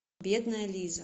бедная лиза